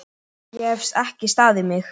Ég hef ekki staðið mig!